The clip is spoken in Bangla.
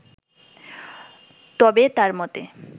তবে তার মতে